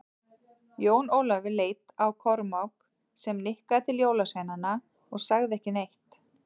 Jón Ólafur leit á Kormák, sem nikkaði til jólasveinana en sagði ekki neitt.